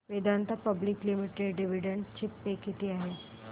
Vedanta public limited dividend pay किती आहे